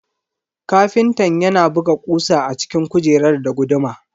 Ƙafintan yana buga kusa a cikin kujerar da guduma.